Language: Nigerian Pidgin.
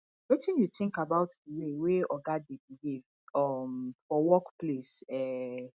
wetin you think about di way wey oga dey behave um for workplace um